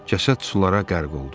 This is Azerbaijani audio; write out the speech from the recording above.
Cəsəd sulara qərq oldu.